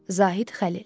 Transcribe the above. Zahid Xəlil.